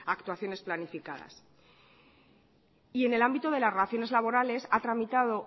actuaciones planificadas en el ámbito de las relaciones laborales ha tramitado